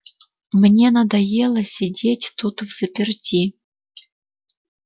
мне надоело сидеть тут взаперти